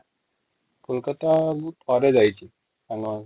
କୋଲକାତା ମୁଁ ଥରେ ଯାଇଛି ସାଙ୍ଗ ମାନଙ୍କ ସାଙ୍ଗରେ